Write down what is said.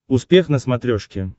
успех на смотрешке